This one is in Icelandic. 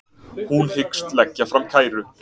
Hún hyggst leggja fram kæru